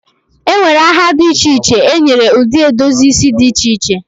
e nwere aha dị iche iche e nyere ụdị edozi isi dị iche iche